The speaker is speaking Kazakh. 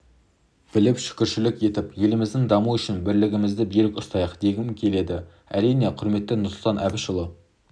біліп шүкіршілік етіп еліміздің дамуы үшін бірлігімізді берік ұстайық дегім келеді әрине құрметті нұрсұлтан әбішұлы